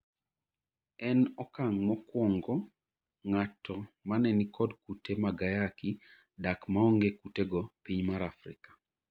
En okang' mokwongo ng'ato mane nikod kute mag ayaki dak maonge kutego piny mar Afrika